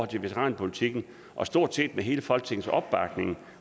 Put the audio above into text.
til veteranpolitikken og stort set med hele folketingets opbakning